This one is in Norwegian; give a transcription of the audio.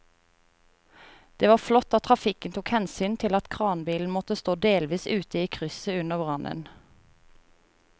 Det var flott at trafikken tok hensyn til at kranbilen måtte stå delvis ute i krysset under brannen.